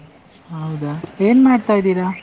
ಹೌದಾ, ಏನ್ ಮಾಡ್ತಾ ಇದ್ದೀರಾ?